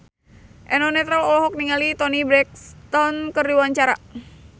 Eno Netral olohok ningali Toni Brexton keur diwawancara